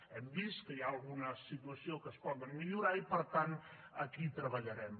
hem vist que hi ha algunes situacions que es poden millorar i per tant aquí hi treballarem